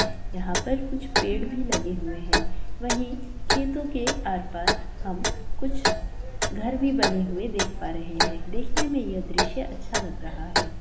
यहां पर कुछ पेड़ भी लगे हुए हैं| वहीं खेतों के आर-पार हम कुछ घर भी बने हुए देख पा रहे हैं| देखने में यह दृश्य अच्छा लग रहा है।